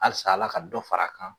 Halisa Ala ka dɔ fara a kan.